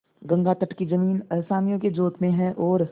गंगातट की जमीन असामियों के जोत में है और